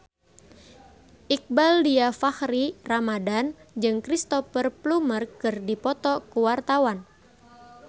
Iqbaal Dhiafakhri Ramadhan jeung Cristhoper Plumer keur dipoto ku wartawan